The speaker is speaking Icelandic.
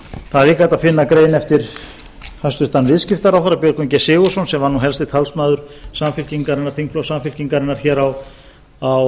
líka hægt að finna grein eftir hæstvirtur viðskiptaráðherra björgvin g sigurðsson sem var nú einna helsti talsmaður þingflokks samfylkingarinnar hér á